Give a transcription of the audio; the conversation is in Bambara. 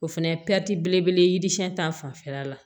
O fɛnɛ ye belebele ye yirisiyɛn ta fanfɛla la